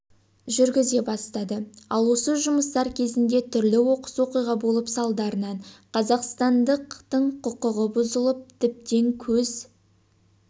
жүргізе бастады ал осы жұмыстар кезінде түрлі оқыс оқиға болып салдарынан қазақстандықтыңқұқығы бұзылып тіптен көз